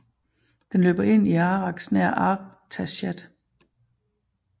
Den løber ind i Arax nær Artashat